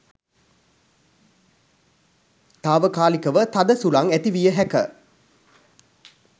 තාවකාලිකව තද සුළං ඇති විය හැක.